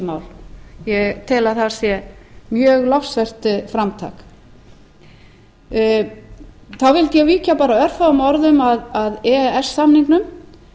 mál ég tel að það sé mjög lofsvert framtak þá vildi ég víkja bara örfáum orðum að e e s samningnum